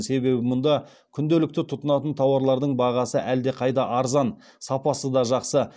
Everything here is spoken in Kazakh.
себебі мұнда күнделікті тұтынатын тауарлардың бағасы әлдеқайда арзан сапасы да жақсы